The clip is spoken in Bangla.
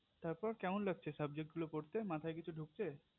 তারপর কেমন লাগছে subject গুলো পরতে মাথায় কিছু ঢুকছে